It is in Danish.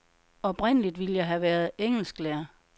Oprindeligt ville jeg have været engelsklærer.